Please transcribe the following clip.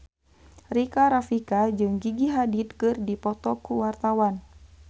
Rika Rafika jeung Gigi Hadid keur dipoto ku wartawan